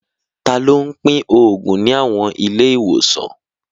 Ta ló ń pín òògùn ní àwọn ilé ìwòsàn?